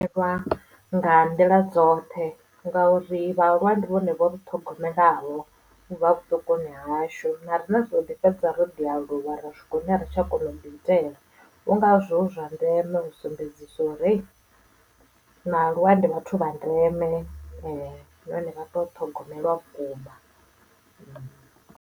Vha nga nḓila dzoṱhe ngauri vhaaluwa ndi vhone vho ri ṱhogomelaho ubva vhuṱukuni hashu na riṋe ri ḓoḓi fhedza ro ḓi aluwa ra swika hune ari tsha kona u ḓiitela ndi ngazwo zwi zwa ndeme u sumbedzisa uri hey vhaaluwa ndi vhathu vha ndeme nahone vha teo ṱhogomelwa vhukuma.